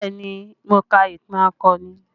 Bẹẹ ni, mo ka ìtàn akọni